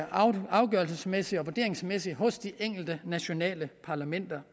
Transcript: afgørelsesmæssigt og vurderingsmæssigt lå hos de enkelte nationale parlamenter